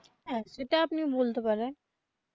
হ্যা সেটা আপনি বলতে পারেন.